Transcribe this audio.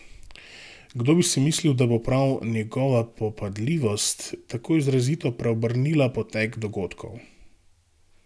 Kdo bi si mislil, da bo prav njegova popadljivost tako izrazito preobrnila potek dogodkov.